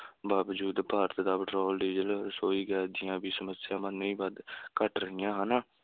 ਬਾਵਜੂਦ ਭਾਰਤ ਦਾ petrol, diesel, ਰਸੋਈ ਗੈਸ ਦੀਆਂ ਵੀ ਸਮੱਸਿਆਵਾਂ ਨਹੀਂ ਵੱਧ ਘੱਟ ਰਹੀਆਂ ਹਨ,